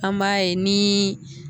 An m'a ye nii